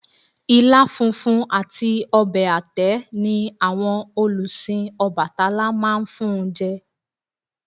Ilá funfun àti ọbẹ̀ àtẹ́ ni àwọn olùsìn Ọbàtálá máa ń fun jẹ